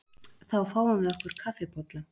Þá fáum við okkur kaffibolla.